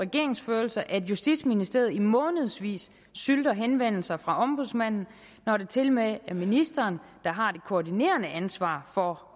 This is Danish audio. regeringsførelse at justitsministeriet i månedsvis sylter henvendelser fra ombudsmanden når det tilmed er ministeren der har det koordinerende ansvar for